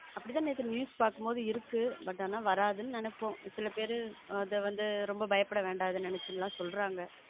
அப்படித்தான் நேத்து news பார்க்கும்போது இருக்கு but ஆனா வராது நினைப்போம் சில பேரு அதை பயப்பட வேணா ரொம்ப நினைச்சு சொல்றாங்க.